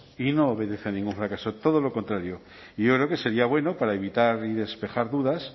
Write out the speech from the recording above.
y no obedece a ningún fracaso todo lo contrario y yo creo que sería bueno para evitar y despejar dudas